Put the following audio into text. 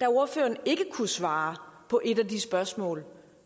da ordføreren ikke kunne svare på et af de spørgsmål